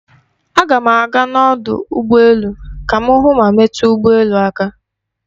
Aga m aga n'ọdụ ụgbọ elu ka m hụ ma metu ụgbọ elu aka.